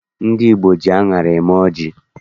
Ndị Igbo ji aṅara eme ọjị